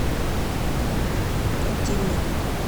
коптильня